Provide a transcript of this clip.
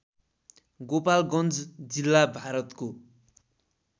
गोपालगञ्ज जिल्ला भारतको